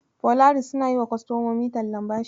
Polaris suna yiwa kostomomi tallan bashi.